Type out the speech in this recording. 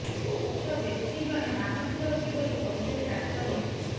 ଉକ୍ତ ବ୍ୟକ୍ତି ଜଣେ ମାନସିକ ରୋଗୀ ବୋଲି କହିଛନ୍ତି ଡାକ୍ତର ନିଖିଲ